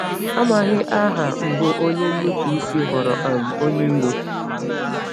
Amaghị aha mbụ onye nnupụisi ghọrọ um onye iro.